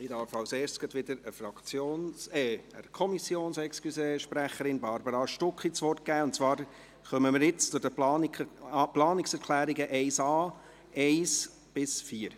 Zuerst darf ich wieder der Kommissionssprecherin, Barbara Stucki, das Wort geben, und zwar kommen wir jetzt zu den Planungserklärungen 1.a sowie 1 bis 4.